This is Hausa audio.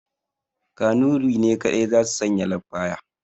Kanurai ne kaɗai za su sanya lafaya